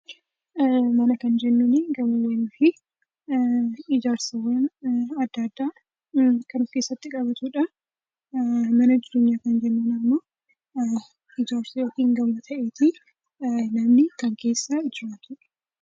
Mana kan jennuni gamoowwaanii fi ijaarsawwaan addaa, adda kan of keessatti qabatudha. Mana jireenya kan jennunimmo ijaarsa yookiin gamoo taa'eeti namni kan keessa jiratudha.